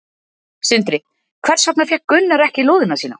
Sindri: Hvers vegna fékk Gunnar ekki lóðina sína?